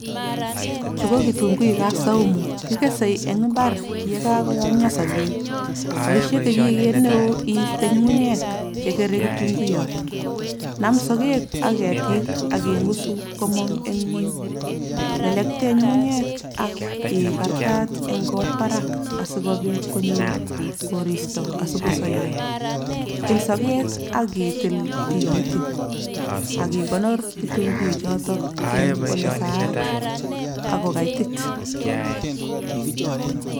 Chu ko kitunguik ap saumu. Kikesei eng mbar ye kakoyomio sokeek. Boisie kechiget neo iiste nyung'unyek chekere kitunguiyot. Naam sokeek ak ketik ak ing'usu komong' eng ng'uny. Lelektee nyung'unyek ak ikartaat eng kot barak asikobiit konyor koristo asikosoyo. Tiil sokeek ak itiil tikitik ak ikonor kitunguichotok eng ole saat ak kokaitit.